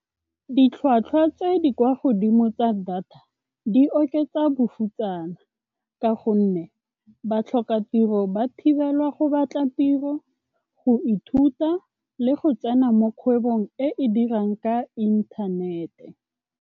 Ditlhwatlhwa tse di kwa godimo tsa data di oketsa bofutsana ka gonne batlhokatiro ba thibelwa go batla tiro, go ithuta le go tsena mo kgwebong e e dirang ka inthanete.